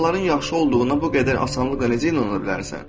İnsanların yaxşı olduğuna bu qədər asanlıqla necə inana bilərsən?